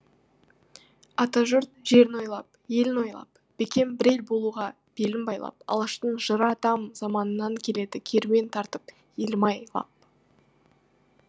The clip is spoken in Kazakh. ата жұрт жерін ойлап елін ойлап бекем бір ел болуға белін байлап алаштың жыры атам заманынан келеді керуен тартып елім ай лап